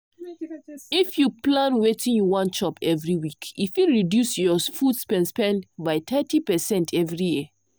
if you plan wetin you wan chop every week e fit reduce your food spend spend by thirty percent every year.